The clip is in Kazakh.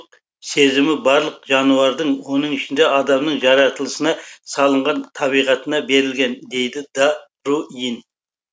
сұлулық сезімі барлық жануардың оның ішінде адамның жаратылысына салынған табиғатына берілген дейді да руин